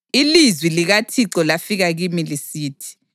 Ilizwi likaThixo lafika kimi lisithi: